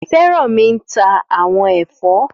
Fẹ́rànmi ń ta àwọn ẹ̀fọ́